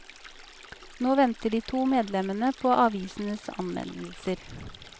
Nå venter de to medlemmene på avisenes anmeldelser.